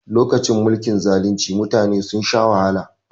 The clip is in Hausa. Lokacin mulkin zalunci mutane sun sha wahala